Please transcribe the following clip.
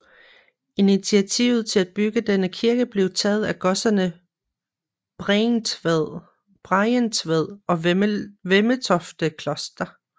Initiativet til at bygge denne kirke blev taget af godserne Bregentved og Vemmetofte Kloster